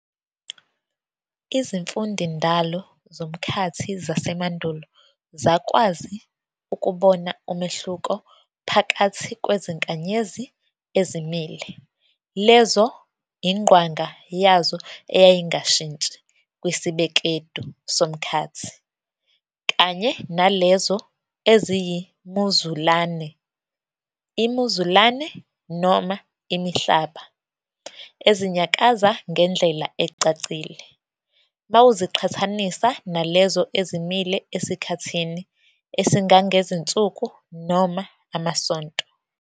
Izimfundindalo zomkhathi zasemandulo zakwazi ukubona umehluko phakathi kwezinkanyezi ezimile, lezo ingqwanga yazo eyayingshintshi kwisibekedu somkhathi, kanye nalezo eziyimuzulane, imizulane - imihlaba, ezinyakaza ngendlela ecacile mawuziqhathanisa nalezo ezimile esikhathini esingangezinsuku noma amasonto.